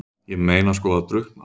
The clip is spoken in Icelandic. Ég meina sko að drukkna?